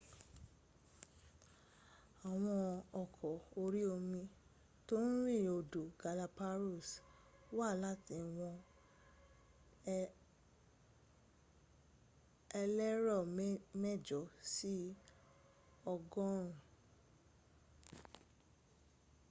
àwọn ọkọ̀ orí omi tó ń rin odò galapagos – wà láti ìwọ̀n elérò mẹ́jọ sí ọgọ́rùn-ún